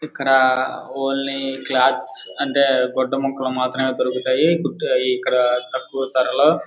ఇక్కడ only cloth అంటే గుడ్డ ముక్కలు మాత్రమే దొరుకుతాయి. ఇక్కడ తక్కువ ధరలో --